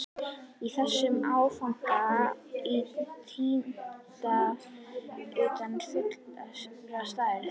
Í þessum áfanga í tíunda hluta fullrar stærðar.